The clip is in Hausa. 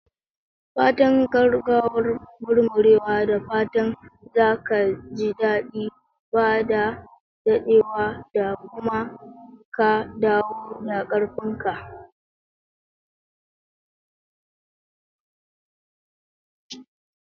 Fatan gaggawar murmurewa! Da fatan za ka ji daɗi ba da daɗewa ba kuma ka dawo da ƙarfin ka.